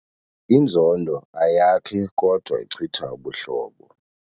Inzondo ayakhi kodwa ichitha ubuhlobo.